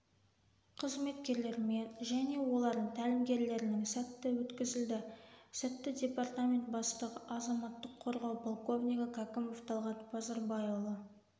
қызметкерлермен және олардың тәлімгерілерінің слті өткізілді слтті департамент бастығы азаматтық қорғау полковнигі кәкімов талғат базарбайұлы